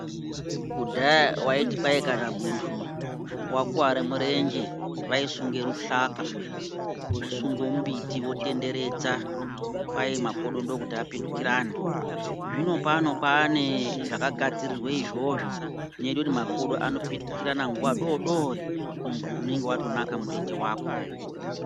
Kudhaya waiti paya kana muntu wakuware murenje, vayisunge ruhlaka, vosungewo mbiti votenderedza, kwayi makodo ndokuti apitikirane. Zvino pano kwanezvaka gadzirirwe izvozvo, zvinoite kuti makodo anopitukirirane nguwa dodori, muntu unenge watonaka murenje wako.